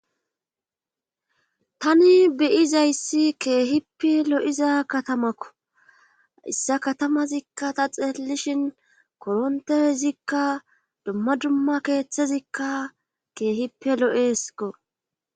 tani beyizayssi keehippe lo7iza katamakko issa katamazikka ta xeeellishin korontezikka dumma dumma keeththezikka keehippe lo7eeskko